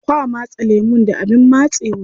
Kwa matse lemun da abin matsewa.